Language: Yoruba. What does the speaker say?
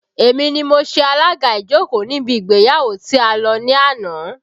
Èmi ni mo ṣe alaga ìjókòó níbi ìgbéyàwó tí a lọ ní àná